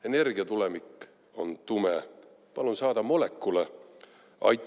Energiatulevik on tume, palun saada molekule!